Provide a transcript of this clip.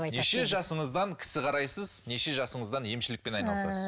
неше жасыңыздан кісі қарайсыз неше жасыңыздан емшілікпен айналысасыз